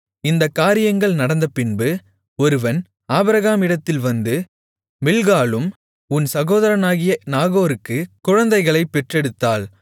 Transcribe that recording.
இந்தக் காரியங்கள் நடந்தபின்பு ஒருவன் ஆபிரகாமிடத்தில் வந்து மில்க்காளும் உன் சகோதரனாகிய நாகோருக்கு குழந்தைகளைப் பெற்றெடுத்தாள்